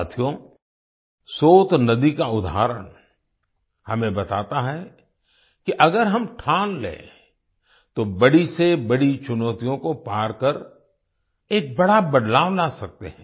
साथियो सोत नदी का उदाहरण हमें बताता है कि अगर हम ठान लें तो बड़ी से बड़ी चुनौतियों को पार कर एक बड़ा बदलाव ला सकते हैं